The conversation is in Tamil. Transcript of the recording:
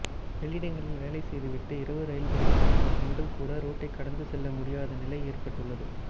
வெளியிடங்களில் வேலை செய்துவிட்டு இரவு ரயில்களில் திரும்பும் பெண்கள் கூட ரோட்டை கடந்து செல்ல முடியாத நிலை ஏற்பட்டுள்ளது